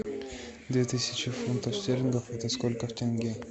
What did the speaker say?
две тысячи фунтов стерлингов это сколько в тенге